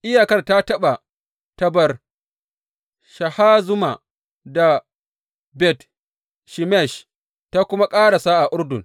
Iyakar ta taɓa Tabor Shahazuma da Bet Shemesh ta kuma ƙarasa a Urdun.